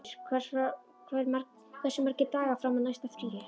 Olgeir, hversu margir dagar fram að næsta fríi?